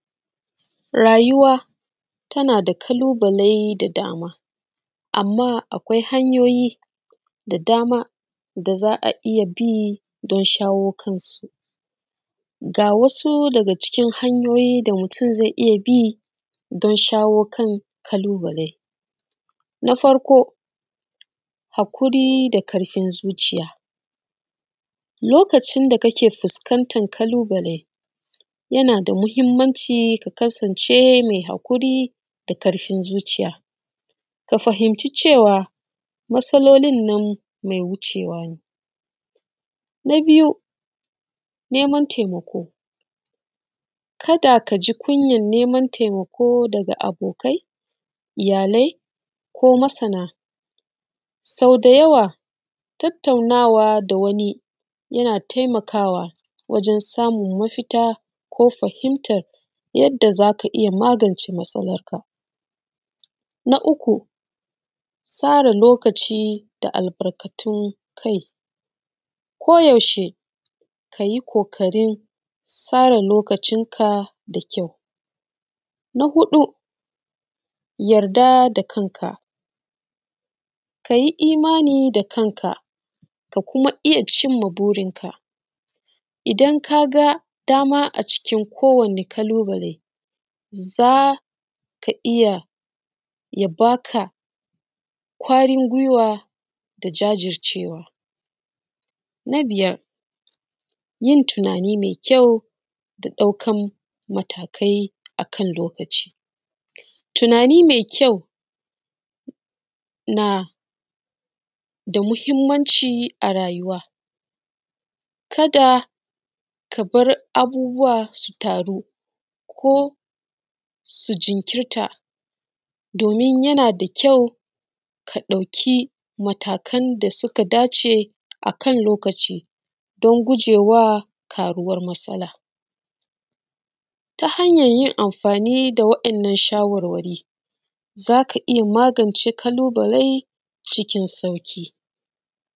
Rayuwa tanada ƙalubale da dama, amma akwai hanyoyi da dama da za a iya bi don shawo kan su, ga wasu daga cikin hanyoyin da mutum zai iya bi don shawo kan ƙalubalen. Na farko; haƙuri da ƙarfin zuciya, lokacin da kake fuskantar ƙalubale, yana da muhimmanci ka kasance mai haƙuri da ƙarfin zuciya, ka fahimci cewa matsalolin nan mai wucewa ne. na biyu, neman taimako, kada kaji kunyar neman taimako daga abokai, iyalai ko masana, sau da yawa tattaunawa da wani yana taimakawa wajen samun mafita ko fahimtar yadda zaka iya magance matsalar ka. Na uku, tsara lokaci da albarkatun kai ko yaushe kayi ƙoƙarin tsara lokacin ka da kyau. Na huɗu, yarda da kan ka, kayi imani da kan ka, ka kuma iya cimma burin ka, idan ka ga dama a cikin kowani ƙalubale, zaka iya ya baka ƙwarin gwiwa da jajircewa. Na biyar, yin tunani mai kyau da ɗaukan matakai akan lokaci, tunani mai kyau na da muhimmanci a rayuwa, kada ka bar abubuwa su taru ko su jinkirta, domin yana da kyau ka ɗauki matakan da suka dace akan lokaci don gujewa ƙaruwar matsala, ta hanyar yin amfani da wa’yannan shawarwari, zaka iya magance ƙalubale.